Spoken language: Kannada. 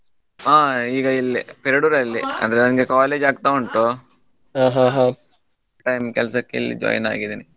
ಹಾ ಈಗ ಇಲ್ಲೇ Perdoor ಲ್ಲಿ ಅಂದ್ರೆ ನಂಗೆ college ಆಗ್ತಾ ಉಂಟು part time ಕೆಲಸಕ್ಕೆ ಇಲ್ಲಿ join ಆಗಿದೇನೆ.